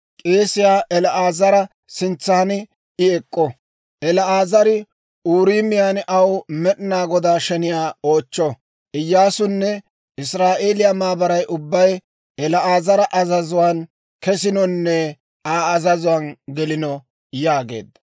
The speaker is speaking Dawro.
K'eesiyaa El"aazara sintsan I ek'k'o; El"aazari Uuriimiyaan aw Med'inaa Godaa sheniyaa oochcho. Iyyaasunne Israa'eeliyaa maabaray ubbay El"aazara azazuwaan kesinonne Aa azazuwaan gelino» yaageedda.